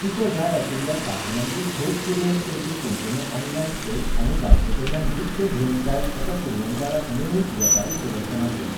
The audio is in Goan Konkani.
तुका जाय आशिल्ल्या साधनांची ठोक पुरवण करपी कंपन्यो ऑनलायन सोद आनी जांचेकडल्यान विकतें घेवंक जायत अशा पुरवणदारांक मेळूंक वेपारी प्रदर्शनांत वच.